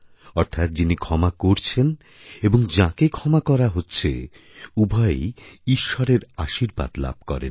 অর্থাৎ যিনি ক্ষমা করছেন এবংযাঁকে ক্ষমা করা হচ্ছে উভয়েই ঈশ্বরের আশীর্বাদ লাভ করেন